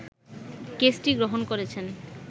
কেসটি গ্রহণ করেছেন